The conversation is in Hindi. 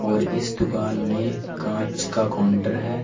और इस दुकान में कांच का काउंटर है।